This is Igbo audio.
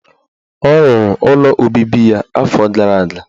Ọ rụrụ ụlọ obibi ya afọ gara aga.